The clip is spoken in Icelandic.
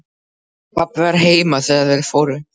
Pabbi var heima þegar þeir fóru.